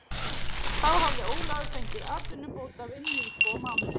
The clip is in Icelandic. Þá hafði Ólafur fengið atvinnubótavinnu í tvo mánuði.